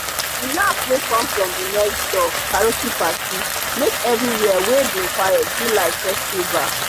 the laugh wey come from the next door karaoke party make everywhere wey bin quiet be like festival.